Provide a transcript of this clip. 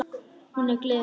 Hún er gleði mín.